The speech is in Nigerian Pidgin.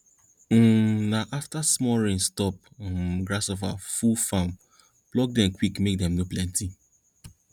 um na afta small rain stop um grasshopper full farm pluck dem quick make dem no plenty